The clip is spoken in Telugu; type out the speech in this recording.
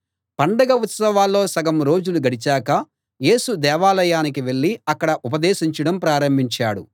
పండగ ఉత్సవాల్లో సగం రోజులు గడిచాక యేసు దేవాలయానికి వెళ్ళి అక్కడ ఉపదేశించడం ప్రారంభించాడు